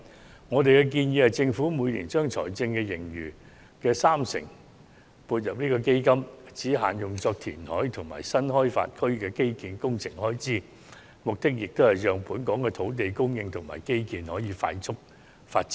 根據我們的建議，政府應將每年財政盈餘的三成撥入該基金，只限用作應付填海及新開發區的基建工程開支，目的是讓本港可進行快速的土地供應及基建發展。